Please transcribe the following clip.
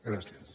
gràcies